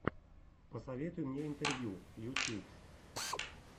посоветуй мне интервью ютьюб